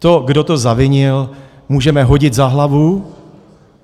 To, kdo to zavinil, můžeme hodit za hlavu.